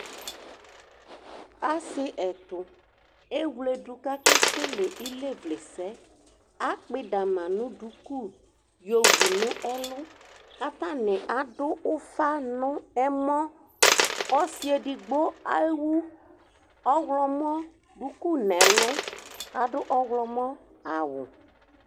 ase ɛto ewle do ko ake kele ilevle sɛ akpɔ idama no duku yowu no ɛlu k'atani ado ufa no ɛmɔ ɔse edigbo ewu ɔwlɔmɔ duku n'ɛlu k'ado ɔwlɔmɔ awu